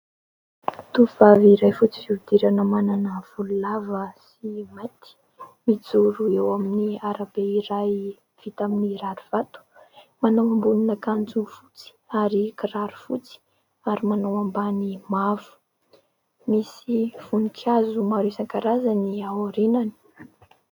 Tovovavy iray fotsy fihodirana manana volo lava sy mainty, mijoro eo amin'ny arabe iray vita amin'ny rarivato, manao ambonin'akanjo fotsy ary kiraro fotsy ary manao ambany mavo. Misy voninkazo maro isankarazany ao aorianany.